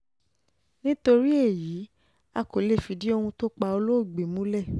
nítorí èyí um a kò lè fìdí ohun tó pa um olóògbé um olóògbé múlẹ̀